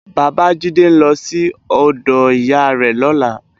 Babajide n lò si òdò iyá rè lòlá